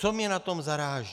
Co mě na tom zaráží?